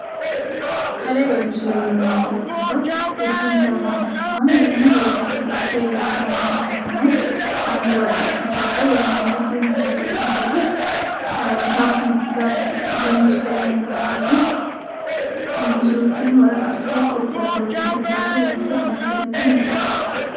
ከላይ በምስሉ ላይ የምንመለከተው የፕሪንተር ማሽን ሲሆን፤ ይህም የኤለክትሮኒክስ አይነት ሆኖ አንድን ወረቀት ስንሰጠው ወይም ፕሪንት ማድረግ ስንፈልግ ራሱን በምስሉ ላይ የምናየው አይነት ምስሎችን ወረቀቶች ላይ ኮፒ አድርጎ ወይም ፕሪንት አድርጎ ለመስጠት የሚያገለግል መሳሪያ ነው።